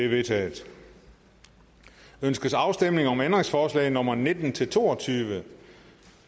vedtaget ønskes afstemning om ændringsforslag nummer nitten til to og tyve